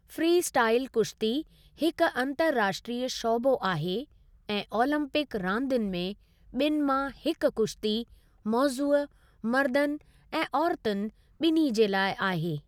Freestyle कुश्ती हिकु अंतर्राष्ट्रीय शौबो आहे ऐं ओलंपिक रांदुनि में ॿिनि मां हिकु कुश्ती मौज़ूअ मर्दनि ऐं औरतुनि ॿिन्ही जे लाइ आहे।